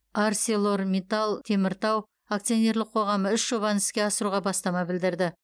арселормитал теміртау акционерлік қоғамы үш жобаны іске асыруға бастама білдірді